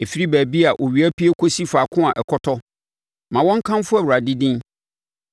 Ɛfiri baabi a owia pue kɔsi faako a ɔkɔtɔ, ma wɔnkamfo Awurade din.